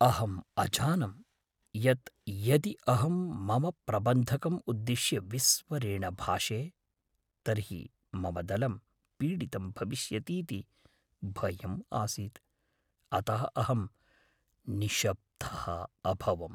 अहम् अजानं यत् यदि अहं मम प्रबन्धकम् उद्दिश्य विस्वरेण भाषे, तर्हि मम दलं पीडितं भविष्यतीति भयम् आसीत्, अतः अहं निशब्दः अभवम्।